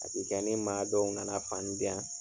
A be kɛ ni maa dɔw nana fani diyan